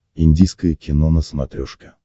индийское кино на смотрешке